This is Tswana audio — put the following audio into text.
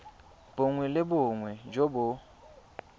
bongwe le bongwe jo bo